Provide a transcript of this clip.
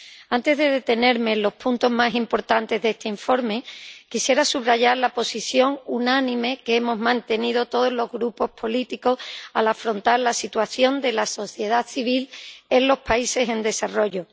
Antes de detenerme en los puntos más importantes de este informe, quisiera subrayar la posición unánime que hemos mantenido todos los grupos políticos al afrontar la situación de la sociedad civil en los países en desarrollo.